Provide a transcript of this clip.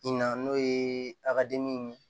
Na n'o ye a ka dimi ye